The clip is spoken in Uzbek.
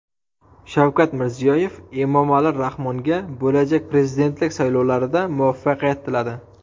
Shavkat Mirziyoyev Emomali Rahmonga bo‘lajak prezidentlik saylovlarida muvaffaqiyat tiladi.